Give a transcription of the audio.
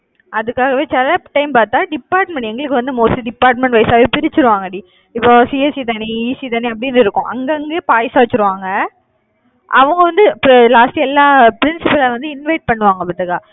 அதுக்காகவே சில time பார்த்தா department எங்களுக்கு வந்து mostly department wise ஆவே பிரிச்சிருவாங்கடி. இப்போ CSE தனி ECE தனி, அப்படின்னு இருக்கும். அங்கங்கே பாயாசம் வச்சிருவாங்க அவங்க வந்து இப்ப last எல்லா அஹ் principal அஹ் வந்து invite பண்ணுவாங்க பாத்துக்க